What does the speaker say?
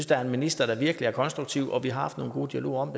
der er en minister der virkelig er konstruktiv og vi har haft nogle gode dialoger om